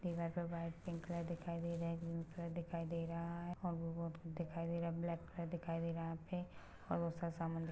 -- पर white pink colour दिखाई दे रहा है ब्लैक कलर दिखाई दे रहा है यहाँ पे और बहोत सारा सामान--